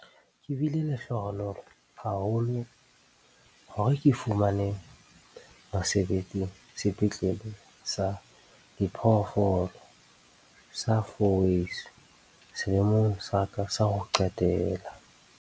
Ke bile lehlohonolo haholo hore ke fumane mosebetsi Sepetlele sa Diphoofolo sa Fourways selemong sa ka sa ho qetela.